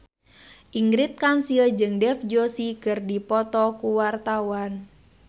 Ingrid Kansil jeung Dev Joshi keur dipoto ku wartawan